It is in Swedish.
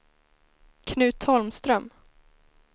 Knut Holmström